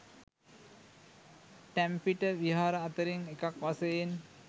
ටැම්පිට විහාර අතරින් එකක් වශයෙන්